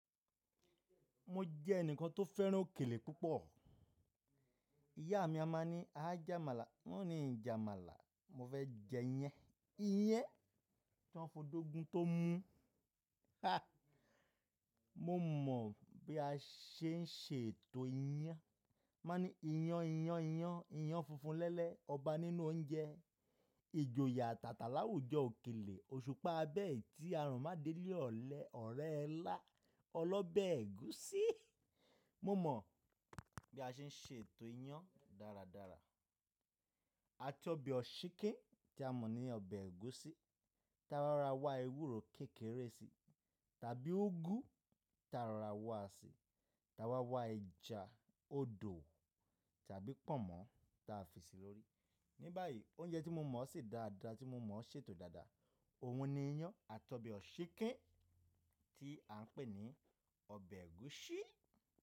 Mo jẹ́ ẹnìkan tó fẹ́ràn òkèlè púpọ̀. Ìyá mi a máa ní, "a jẹ́ Àmàlà." n o ní, "Ìjà Àmàlà, mo fẹ́ jẹ iyán." Iyán, ti wọ́n f'ọ́do gún tó mú. Mo mọ̀ bí a ṣe ń ṣe ètò iyán. Ma ní, iyán, iyán, iyán. Iyán funfun lẹ́lẹ̀, ọba nínú oúnjẹ. Ijoye yàtàtà láwùjọ òkèlè. Òṣùpá abẹ́ẹ̀, tí a rùn mádé lé ọ̀lẹ ọ̀rẹ́ ẹ ilá, ọlọ́bẹ̀ ẹ̀gúsí. Mo mọ̀ bí a ṣe ń ṣe ètò iyán dáradára. Àti ọbẹ̀ òsíkin tí a mọ̀ ní ọbẹ̀ ẹ̀gúsí, tí a máa ra wá ewúro kékeré si tàbí úgú tí a rara wá si, tí a wá wá ẹja odò tàbí pọ̀nmọ́ tí a fi sí lórí. Ní báyìí, oúnjẹ tí mo mọ̀ ṣí dáradára, tí mo mọ̀ ṣètò dáadáa, òun ni iyán àti ọbẹ̀ òsíkin tí à ń pè ní ọbẹ̀ ẹ̀gúsí.